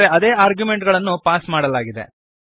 ಆದರೆ ಅದೇ ಆರ್ಗ್ಯುಮೆಂಟುಗಳನ್ನು ಪಾಸ್ ಮಾಡಲಾಗಿದೆ